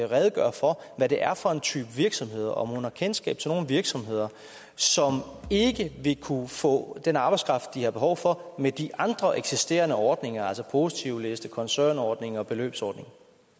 redegøre for hvad det er for en type virksomhed og om hun har kendskab til sådan nogle virksomheder som ikke vil kunne få den arbejdskraft de har behov for med de andre eksisterende ordninger altså positivliste koncernordning og beløbsordning